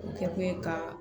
O kɛkun ye ka